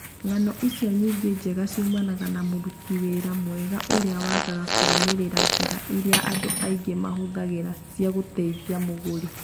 Ng'ano icio nyingĩ njega ciumanaga na mũrũti wĩra mega ũmwe ũrĩa wagaga kũrũmĩrĩra njĩra iria andũ aingĩ mahũthagĩra cia gũteithia mũgũri.